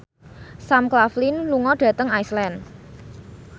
Sam Claflin lunga dhateng Iceland